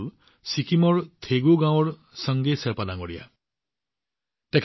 ছিকিমৰ থেগু গাঁৱৰ চাংগে শ্বেৰ্পাজীয়ে এই উদাহৰণ দাঙি ধৰিছে